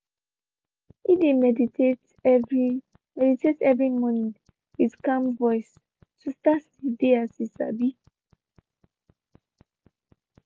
he de meditate every meditate every morning with calm voice to start de dey as he sabi.